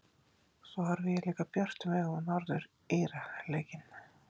Svo horfi ég líka björtum augum á Norður Íra leikinn.